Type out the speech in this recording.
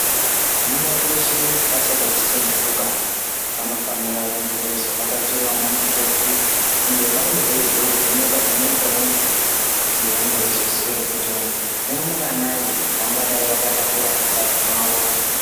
Vanamai veshe vasati vasununguka vanofanira kunge veizovhakachirawo vana mukoti ngevamwe veizovhenekwa-vhenekwawo kuti vange veizoziyawo kuti varumbwanai vavangadai vakatakura mundani mwavo.